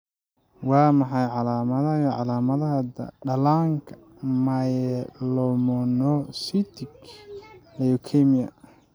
Waa maxay calamadaha iyo calaamadaha dhallaanka myelomonocytic leukemia?